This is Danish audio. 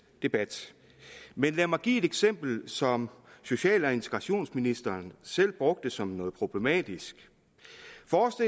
debat lad mig give et eksempel som social og integrationsministeren selv brugte som noget problematisk